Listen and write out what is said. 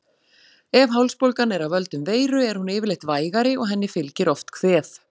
Ef hálsbólgan er af völdum veiru er hún yfirleitt vægari og henni fylgir oft kvef.